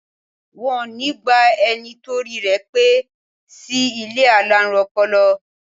Wọn ó ní gba ẹni torí rẹ̀ pé sí ilé alárùn ọpọlọ